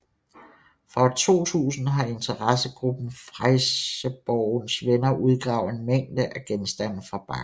Fra år 2000 har interessegruppen Fresjeborgens Venner udgravet en mængde af genstande fra bakken